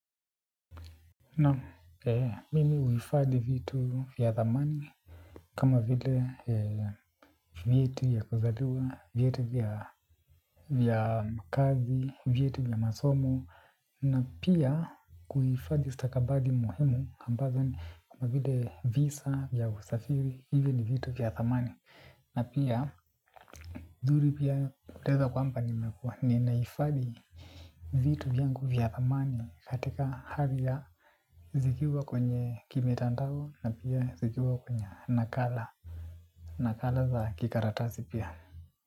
Naam, mimi huifadhi vitu vya thamani, kama vile vyeti vya kuzaliwa, vyeti vya kazi, vyeti vya masomo, na pia kuifadhi stakabadhi muhimu, ambazo ni kama vile visa vya usafiri, hivyo ni vitu vya thamani. Na pia zuri pia uleza kwamba nimekua ni naifadhi vitu vyangu vya thamani katika hali ya zikiwa kwenye kimitandao na pia zikiwa kwenye nakala nakala za kikaratasi pia.